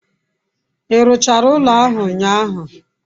I ruchara ulo ahu unyahu?